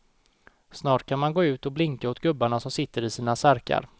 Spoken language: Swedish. Snart kan man gå ut och blinka åt gubbarna som sitter i sina särkar.